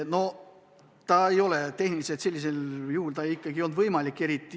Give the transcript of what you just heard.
No tehniliselt see ikkagi ei olnud võimalik.